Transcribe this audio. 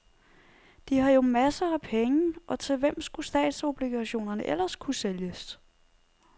De har jo masser af penge, og til hvem skulle statsobligationerne ellers kunne sælges?